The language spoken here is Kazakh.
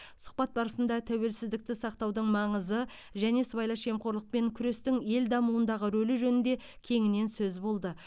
сұхбат барысында тәуелсіздікті сақтаудың маңызы және сыбайлас жемқорлықпен күрестің ел дамуындағы рөлі жөнінде кеңінен сөз болды